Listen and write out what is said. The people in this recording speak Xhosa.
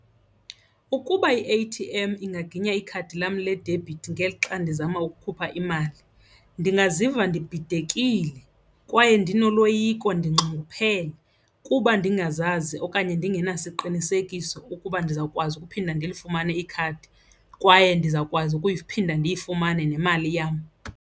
Ukuba i-A-T_M ingaginya ikhadi lam ledebhithi ngelixa ndizama ukukhupha imali ndingaziva ndibhidekile kwaye ndinoloyiko ndinxunguphele kuba ndingazazi okanye ndingenasiqinisekiso ukuba ndizawukwazi ukuphinda ndilifumane ikhadi kwaye ndizawukwazi ukuphinda ndiyifumane nemali yam.